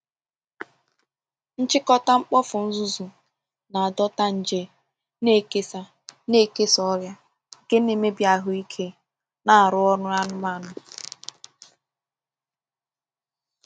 Nchịkọta mkpofu nzuzu na-adọta nje, na-ekesa na-ekesa ọrịa nke na-emebi ahụ ike na arụ ọrụ anụmanụ.